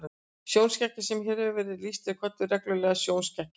Sjónskekkja sem hér hefur verið lýst er kölluð regluleg sjónskekkja.